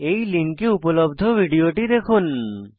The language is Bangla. এই লিঙ্কে উপলব্ধ ভিডিওটি দেখুন